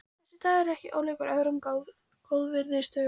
Þessi dagur er ekki ólíkur öðrum góðviðrisdögum.